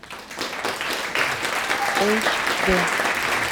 эйч д